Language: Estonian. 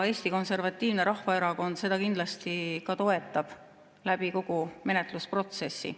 Eesti Konservatiivne Rahvaerakond seda kindlasti toetab kogu selle menetluse protsessis.